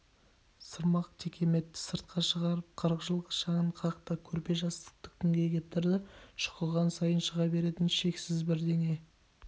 сырмақ-текеметті сыртқа шығарып қырық жылғы шаңын қақты көрпе-жастықты күнге кептірді шұқыған сайын шыға беретін шексіз бірдеңе